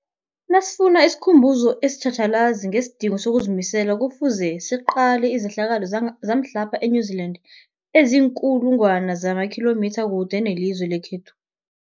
Nasifuna isikhumbuzo esitjhatjhalazi ngesidingo sokuzimisela, Kufuze siqale izehlakalo zamhlapha e-New Zealand eziinkulu ngwana zamakhilomitha kude nelizwe lekhethu.